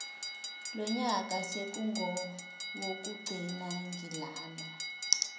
lonyaka sekungowokugcina ngilana